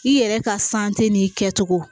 I yɛrɛ ka san tɛ n'i kɛ cogo